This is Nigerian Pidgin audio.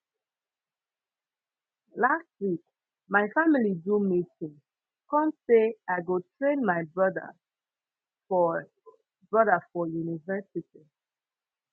last week my family do meeting come sey i go train my broda for broda for university